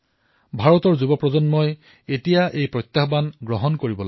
ভাৰতৰ যুৱপ্ৰজন্মই এতিয়া এই প্ৰত্যাহ্বান স্বীকাৰ কৰি লব লাগিব